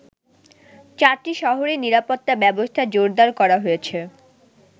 চারটি শহরেই নিরাপত্তা ব্যবস্থা জোরদার করা হয়েছে।